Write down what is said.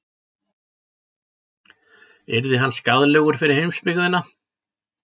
Yrði hann skaðlegur fyrir heimsbyggðina?